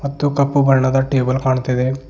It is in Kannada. ಮತ್ತು ಕಪ್ಪು ಬಣ್ಣದ ಟೇಬಲ್ ಕಾಣುತ್ತಿದೆ.